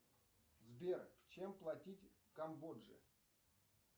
сбер чем платить в камбодже